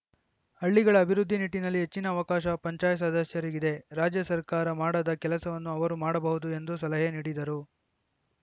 ಹಳ್ಳಿಗಳ ಅಭಿವೃದ್ಧಿ ನಿಟ್ಟಿನಲ್ಲಿ ಹೆಚ್ಚಿನ ಅವಕಾಶ ಪಂಚಾಯತ್‌ ಸದಸ್ಯರಿಗಿದೆ ರಾಜ್ಯ ಸರ್ಕಾರ ಮಾಡದ ಕೆಲಸವನ್ನು ಅವರು ಮಾಡಬಹುದು ಎಂದು ಸಲಹೆ ನೀಡಿದರು